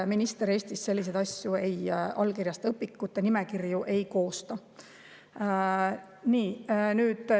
Minister Eestis selliseid asju ei allkirjasta ega õpikute nimekirju ei koosta.